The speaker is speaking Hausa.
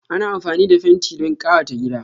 Ana amfani da fenti don kayata gida.